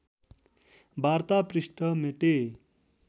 वार्ता पृष्ठ मेटे